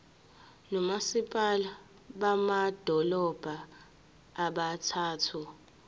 nomasipala bamadolobha abathathu